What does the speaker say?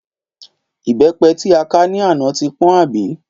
Ìbépe tí a ká ní àná ti pọ́n àbí?